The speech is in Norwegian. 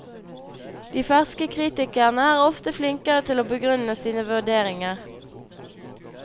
De ferske kritikerne er ofte flinkere til å begrunne sine vurderinger.